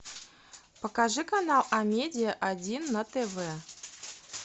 покажи канал амедиа один на тв